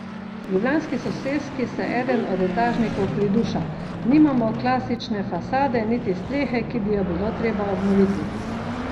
V ljubljanski soseski se eden od etažnikov priduša: "Nimamo klasične fasade, niti strehe, ki bi jo bilo treba obnoviti.